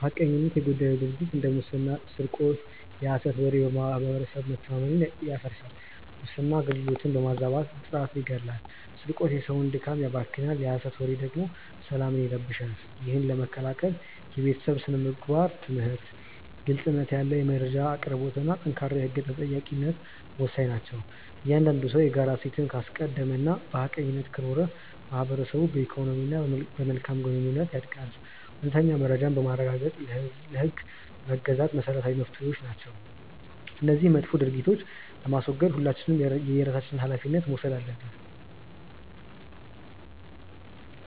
ሐቀኝነት የጎደለው ድርጊት እንደ ሙስና ስርቆት የሐሰት ወሬ በማህበረሰብ መተማመንን ያፈርሳል። ሙስና አገልግሎትን በማዛባት ጥራትን ይገድላል ስርቆት የሰውን ድካም ያባክናል የሐሰት ወሬ ደግሞ ሰላምን ይረብሻል። ይህን ለመከላከል የቤተሰብ ስነ-ምግባር ትምህርት፣ ግልጽነት ያለው የመረጃ አቅርቦትና ጠንካራ የህግ ተጠያቂነት ወሳኝ ናቸው። እያንዳንዱ ሰው የጋራ እሴትን ካስቀደመና በሐቀኝነት ከኖረ ማህበረሰቡ በኢኮኖሚና በመልካም ግንኙነት ያድጋል። እውነተኛ መረጃን ማረጋገጥና ለህግ መገዛት መሰረታዊ መፍትሄዎች ናቸው። እነዚህን መጥፎ ድርጊቶች ለማስወገድ ሁላችንም የየራሳችንን ሃላፊነት መውሰድ አለብን።